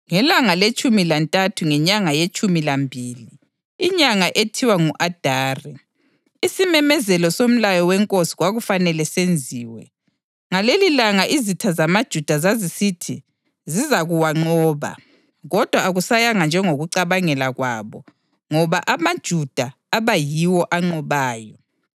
Ngelanga letshumi lantathu ngenyanga yetshumi lambili, inyanga ethiwa ngu-Adari, isimemezelo somlayo wenkosi kwakufanele senziwe. Ngalelilanga izitha zamaJuda zazisithi zizakuwanqoba, kodwa akusayanga njengokucabangela kwabo ngoba amaJuda aba yiwo anqobayo.